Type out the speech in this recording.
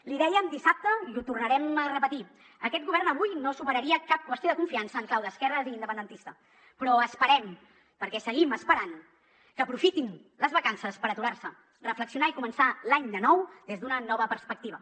l’hi dèiem dissabte i ho tornarem a repetir aquest govern avui no superaria cap qüestió de confiança en clau d’esquerres i independentista però esperem perquè seguim esperant que aprofitin les vacances per aturar se reflexionar i començar l’any de nou des d’una nova perspectiva